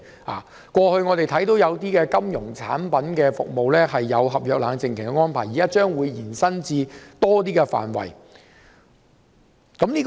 我們過去看到有些金融產品服務設有合約冷靜期的安排，現在將延伸至更多範圍。